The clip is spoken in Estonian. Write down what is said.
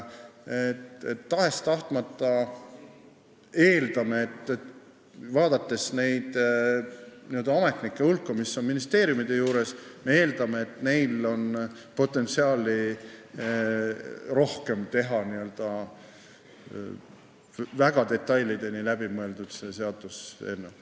Tahes-tahtmata me eeldame, vaadates ametnike hulka ministeeriumide juures, et neil on rohkem potentsiaali teha väga detailideni läbi mõeldud seaduseelnõu.